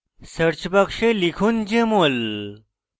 search box লিখুন jmol